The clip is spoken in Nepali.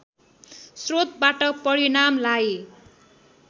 स्रोतबाट परिणामलाई